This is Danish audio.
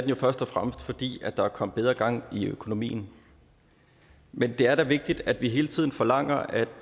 jo først og fremmest fordi der er kommet bedre gang i økonomien men det er da vigtigt at vi hele tiden forlanger at